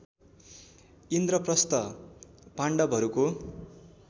इन्द्रप्रस्थ पाण्डवहरूको